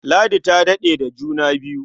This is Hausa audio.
Ladi ta daɗe da juna biyu.